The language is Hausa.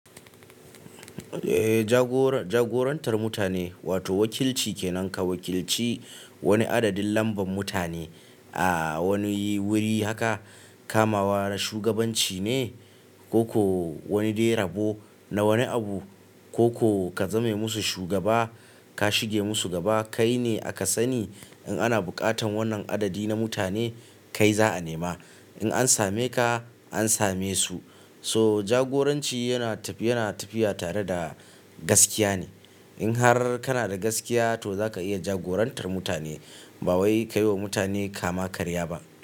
Eh jagorantar mutane wato wakilci kenan ka wakilci wani adadin lambar mutane a wani wuri haka kamawa da shugabanci ne. Ko ko wani dai rabo na wani abu ko ka zame musu shugaba ka shige musu gaba. Kai ne aka sani in ana bukatan wannan adadi na mutane kai za'a nema in an same ka an same su. So jagoranci yana tafiya tare da gaskiya ne in har kana da gaskiya to zaka iya jagorantar mutane ba wai kai wa mutane kama karya ba.